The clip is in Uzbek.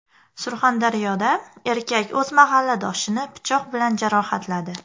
Surxondaryoda erkak o‘z mahalladoshini pichoq bilan jarohatladi.